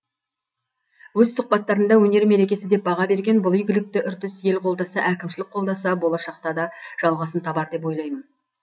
өз сұхбаттарында өнер мерекесі деп баға берген бұл игілікті үрдіс ел қолдаса әкімшілік қолдаса болашақта да жалғасын табар деп ойлаймын